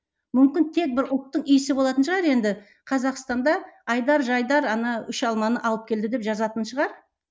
мүмкін тек бір ұлттың иісі болатын шығар енді қазақстанда айдар жайдар ана үш алманы алып келді деп жазатын шығар